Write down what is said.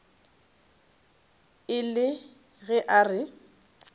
e le ge a re